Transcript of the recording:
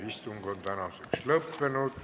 Istung on tänaseks lõppenud.